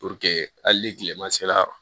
hali ni kilema sera